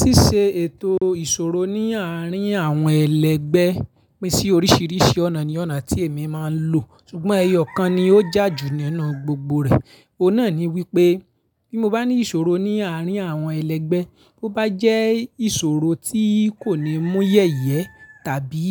Ṣíṣe ètò ìṣòro ní àárín àwọn ẹlẹgbẹ́ pín sí oríṣiríṣi ọ̀nà ni ọ̀nà tí èmi máa ń lò. Sugbọn ẹyọ̀ kan ni ó jà ju nínú gbogbo rẹ̀. Òun náà ni wípé bí mo bá ní ìṣòro ní àárín àwọn ẹlẹgbẹ́, bó bá jẹ́ ìṣòro tí kò ní mú yẹ̀yẹ́ tàbí